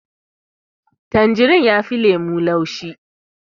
Tanjarin yafi lemo laushi